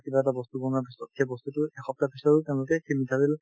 কিবা এটা বস্তু বনোৱাৰ পিছত সেই বস্তুতো এসপ্তাহ পিছতে তেওঁলোকে সেই মিঠাতেল